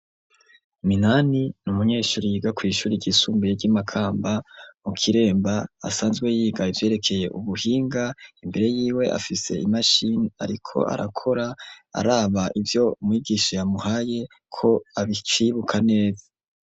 Minani n'umunyeshuri yiga kw'ishuri ryisumbuye ry'imakamba mu kiremba, asanzwe yiga ivyerekeye ubuhinga, imbere yiwe afise imashini ariko arakora araba ivyo mwigisha yamuhaye ko akivyibuka neza.